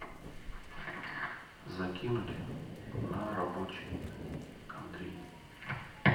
закинуть на рабочий андрей